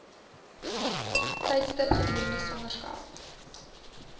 tydstip gedurende swangerskap